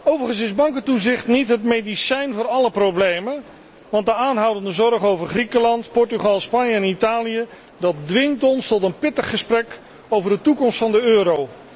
Overigens is bankentoezicht niet het medicijn voor alle problemen, want de aanhoudende zorg over Griekenland, Portugal, Spanje en Italië dwingt ons tot een pittig gesprek over de toekomst van de euro.